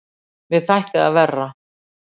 Mér þætti það verra!